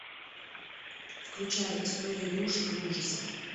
включай история игрушек и ужасов